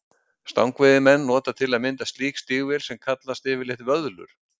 Stangveiðimenn nota til að mynda slík stígvél sem kallast yfirleitt vöðlur.